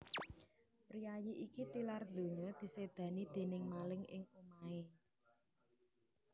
Priyayi iki tilar ndonya disédani déning maling ing omahé